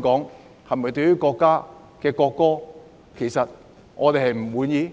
港人對國家的國歌是否不滿？